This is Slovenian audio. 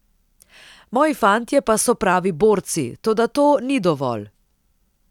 Moji fantje pa so pravi borci, toda to ni dovolj.